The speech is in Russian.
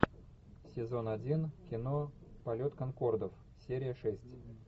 сезон один кино полет конкордов серия шесть